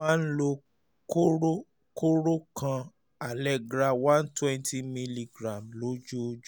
máa ń lo kóró kóró kan allegra one twenty milligram lójoojú